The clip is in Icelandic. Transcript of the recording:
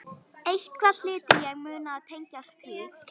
Eitthvað hlyti ég að muna sem tengdist því.